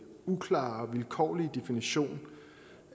uklare og vilkårlige definition